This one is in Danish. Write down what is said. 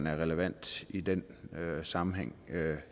er relevante i den sammenhæng